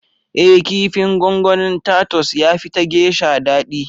Ee kifin gongonin Tatus ya fi ta Geisha dadi